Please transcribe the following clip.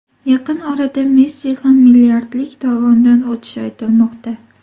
Yaqin orada Messi ham milliardlik dovondan o‘tishi aytilmoqda.